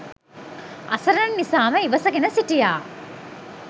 අසරණ නිසාම ඉවසගෙන හිටියා.